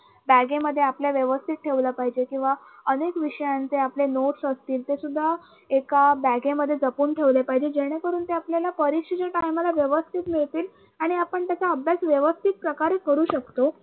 बॅगेमध्ये आपल्या व्यवस्थित ठेवल पाहिजे किंवा अनेक विषयांचे आपले notes असतील ते सुद्धा एका बॅगेमध्ये जपून ठेवले पाहिजे जेणेकरून ते आपल्याला परीक्षेच्या time ला आपल्याला व्यवस्थित मिळतील आणि आपण त्याचा अभ्यास व्यवस्थित प्रकारे करू शकतो.